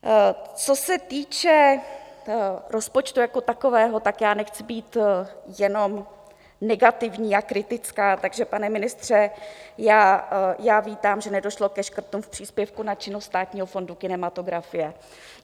Co se týče rozpočtu jako takového, tak já nechci být jenom negativní a kritická, takže pane ministře, já vítám, že nedošlo ke škrtům v příspěvku na činnost Státního fondu kinematografie.